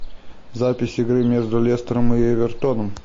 запись игры между лестером и эвертоном